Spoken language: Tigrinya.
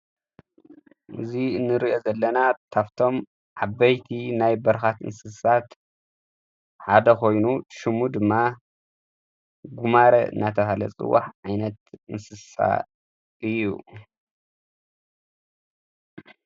እዙይ ንርአ ዘለና ታፍቶም ዓበይቲ ናይ በርኻት እንስሳት ሓደ ኾይኑ ሹሙ ድማ ጕማረ ናተብሃለ ጽዋሕ ዓይነት እንስሳ እዩ።